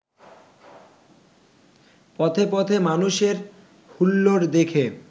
পথে পথে মানুষের হুল্লোড় দেখে